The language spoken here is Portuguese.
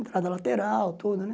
Entrada lateral, tudo, né?